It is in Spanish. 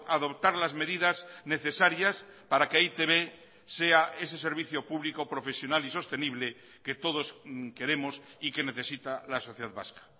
adoptar las medidas necesarias para que e i te be sea ese servicio público profesional y sostenible que todos queremos y que necesita la sociedad vasca